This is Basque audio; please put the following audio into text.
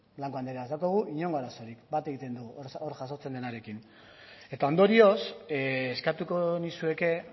blanco andrea ez daukagu inongo arazorik bat egiten dugu hor jasotzen denarekin eta ondorioz eskatuko nizueke